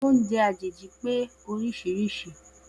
Oúnjẹ àjèjì pé oríṣiríṣi.